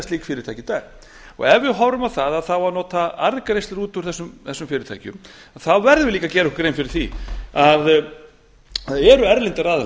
slík fyrirtæki ef við horfum á það að það á að nota arðgreiðslum út úr þessu fyrirtækjum þá verðum við líka að gera okkur grein fyrir því að það eru erlendir aðilar